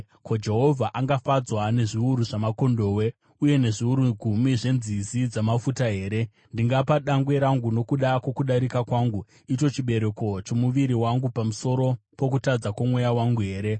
Ko, Jehovha angafadzwa nezviuru zvamakondobwe, uye nezviuru gumi zvenzizi dzamafuta here? Ndingapa dangwe rangu nokuda kwokudarika kwangu, icho chibereko chomuviri wangu pamusoro pokutadza kwomweya wangu here?